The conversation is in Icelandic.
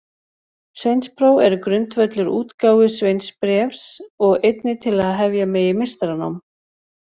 Sveinspróf er grundvöllur útgáfu sveinsbréfs og einnig til að hefja megi meistaranám.